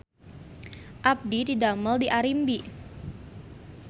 Abdi didamel di Arimbi